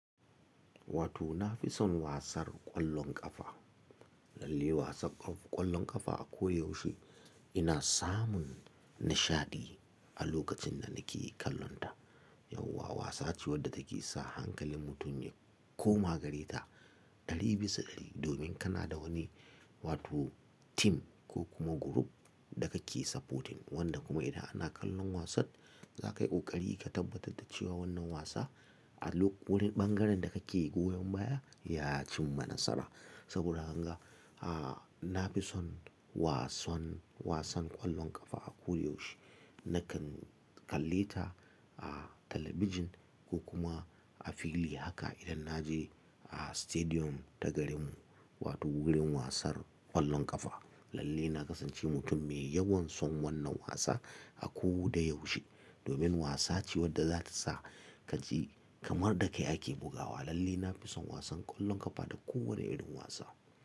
Wato na fi son wasar ƙwallon ƙafa, lalle wasan ƙwallon ƙafa a ko da yaushe ina samun nishaɗi a lokacin da nake kallonta. Yauwa wasa ce wadda take sa hankalin mutum ya koma gare ta ɗari bisa ɗari, domin kana da wani wato tim ko kuma group da kake supporting, wanda kuma idan ana kallon wasan za ka yi ƙoƙari ka tabbatar da cewa wannan wasa a wani ɓangaren da kake goyon baya ya cimma nasara. Saboda haka, a na fi son wasan, wasan ƙwallon ƙafa a ko da yaushe. Nakan kalle ta a talabijin ko kuma a fili haka idan na je a stadium ta garinmu wato wurin wasar ƙwallon ƙafa. Lalle na kasance mutum mai yawan son wannan wasa a ko da yaushe, domin wasa ce wadda za ta sa ka ji kamar da ka yake bugawa. Lalle na fi son wasan ƙwallon ƙafa da kowane irin wasa.